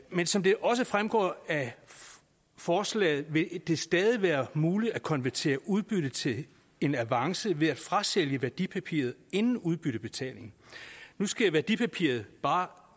men som det også fremgår af forslaget vil det stadig være muligt at konvertere et udbytte til en avance ved at frasælge værdipapiret inden udbyttebetaling nu skal værdipapiret bare